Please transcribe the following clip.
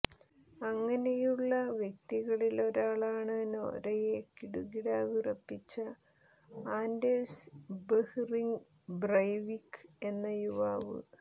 അങ്ങനെയുള്ള വ്യക്തികളിലൊരാളാണ് നോര്വയെ കിടുകിടാവിറപ്പിച്ച ആന്ഡേഴ്സ് ബെഹ്റിങ് ബ്രെവിക്ക് എന്ന യുവാവ്